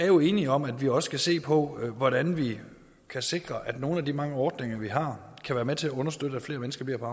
jo er enige om at vi også skal se på hvordan vi kan sikre at nogle af de mange ordninger vi har kan være med til at understøtte at flere mennesker bliver på